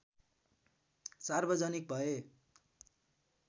सार्वजनिक भए